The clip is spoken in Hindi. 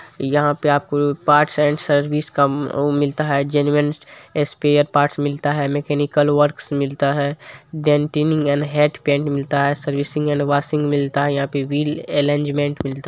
यहा पे आपको पार्ट्स एंड सर्विस का उ मिलता है जेनुएन स्पैरपार्ट्स मिलता है मेकेनिकल वर्क्स मिलता है डेंटिंग एंड हीट पैंट मिलता है सर्विसिंग एंड वॉशिंग मिलता है व्हील अलिग्न्मेंत मिलता है।